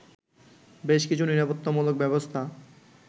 বেশ কিছু নিরাপত্তামূলক ব্যবস্থা